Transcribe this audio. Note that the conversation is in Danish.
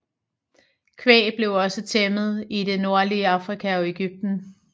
Kvæg blev også tæmmet i det nordlige Afrika og Egypten